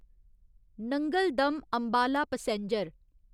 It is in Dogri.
Nangal dam Ambala passenger